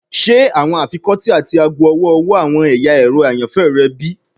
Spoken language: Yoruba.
Ṣe awọn afikọti ati aago ọwọ-ọwọ awọn ẹya ẹrọ ayanfẹ rẹ bi?